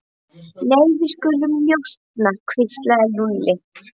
Nei, við skulum njósna hvíslaði Lúlli.